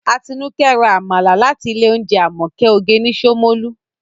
Atinúkẹ́ ra Àmàlà láti ilé oúnjẹ Àmọ̀kẹ́ oge ní Ṣómólú